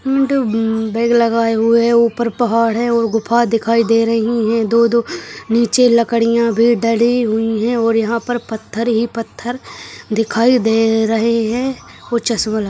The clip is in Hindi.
बैग लगाए हुए है ऊपर पहाड़ है और गुफा दिखाई दे रही हैं दो दो नीचे लकड़ियां भी डली हुई हैं और यहाँ पर पत्थर ही पत्थर दिखाई दे रहे हैं वो चश्मा --